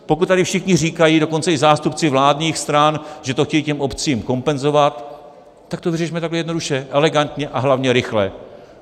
Pokud tady všichni říkají, dokonce i zástupci vládních stran, že to chtějí těm obcím kompenzovat, tak to vyřešme takhle jednoduše, elegantně a hlavně rychle.